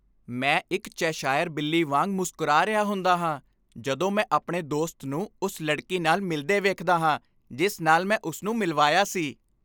ਮੈਂ ਇੱਕ ਚੈਸ਼ਾਇਰ ਬਿੱਲੀ ਵਾਂਗ ਮੁਸਕਰਾ ਰਿਹਾ ਹੁੰਦਾ ਹਾਂ ਜਦੋਂ ਮੈਂ ਆਪਣੇ ਦੋਸਤ ਨੂੰ ਉਸ ਲੜਕੀ ਨਾਲ ਮਿਲਦੇ ਵੇਖਦਾ ਹਾਂ ਜਿਸ ਨਾਲ ਮੈਂ ਉਸ ਨੂੰ ਮਿਲਵਾਇਆ ਸੀ।